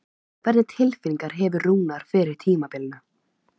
Hvernig tilfinningu hefur Rúnar fyrir tímabilinu?